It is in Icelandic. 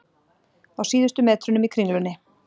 Á síðustu metrunum í Kringlunni